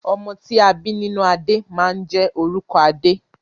Ọmọ ti a bi nínú adé máa n jẹ orúkọ adé.